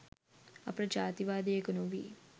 අපට ජාතිකවාදියකු නොවී